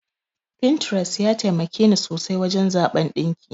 Pinterest ya taimakeni sosai wajen zaɓan ɗinki.